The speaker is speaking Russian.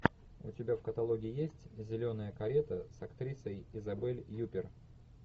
у тебя в каталоге есть зеленая карета с актрисой изабель юппер